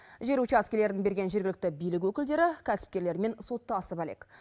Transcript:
жер учаскелерін берген жергілікті билік өкілдері кәсіпкерлермен соттасып әлек